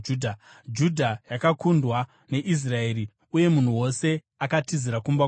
Judha yakakundwa neIsraeri uye munhu wose akatizira kumba kwake.